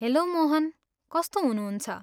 Hello Mohan, कस्तो हुनुहुन्छ?